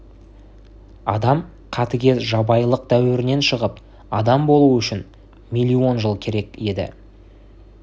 адам қатыгез жабайылық дәуірден шығып адам болу үшін миллион жыл керек еді